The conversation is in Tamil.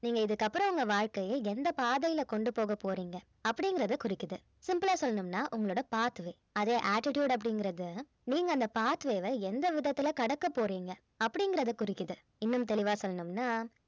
நீங்க இதுக்கு அப்புறம் உங்க வாழ்க்கையை எந்த பாதையில கொண்டு போகப் போறீங்க அப்படிங்கறத குறிக்குது simple ஆ சொல்லனும்னா உங்களோட path way அதே attitude அப்படிங்கறது நீங்க அந்த path way வ எந்த விதத்தில கடக்க போறீங்க அப்படிங்கறத குறிக்குது இன்னும் தெளிவா சொல்லனும்னா